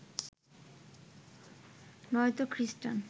নয়ত খ্রিস্টান